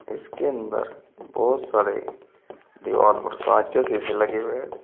इसके अंदर बहुत सारे दीवार पर कांच के शीशे लगे हुए है।